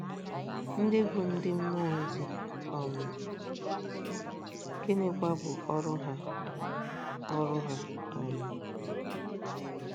ndị bụ ndị mmụọ um ozi, um gịnịkwa bụ ọrụ ha ọrụ ha um?